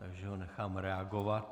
Takže ho nechám reagovat.